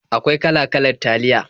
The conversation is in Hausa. Akwai kala-kalar taliya.